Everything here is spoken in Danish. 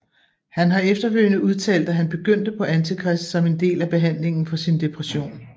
Han har efterfølgende udtalt at han begyndte på Antichrist som en del af behandlingen for sin depression